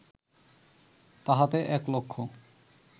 তাহাতে এক লক্ষ